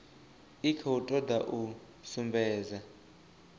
i khou toda u sumbedza